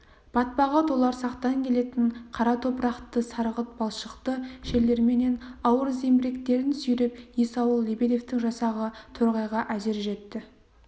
батпағы толарсақтан келетін қара топырақты сарғылт балшықты жерлерменен ауыр зеңбіректерін сүйреп есауыл лебедевтің жасағы торғайға әзер жетті